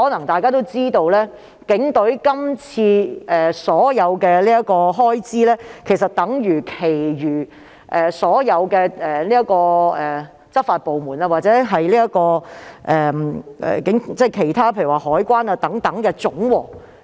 大家或許也知道，警隊今次的開支總額相等於所有執法部門如海關或其他部門的總和。